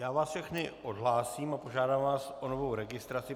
Já vás všechny odhlásím a požádám vás o novou registraci.